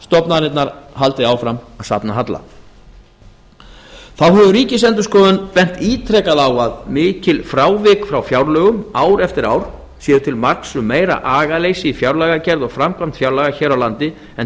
stofnanirnar haldi áfram að safna halla þá hefur ríkisendurskoðun bent ítrekað á að mikil frávik frá fjárlögum ár eftir ár séu til marks um meira agaleysi í fjárlagagerð og framkvæmd fjárlaga hér á landi en